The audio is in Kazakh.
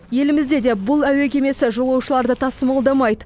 елімізде де бұл әуе кемесі жолаушыларды тасымалдамайды